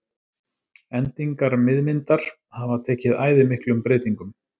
Endingar miðmyndar hafa tekið æði miklum breytingum.